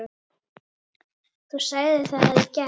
Þú sagðir það í gær.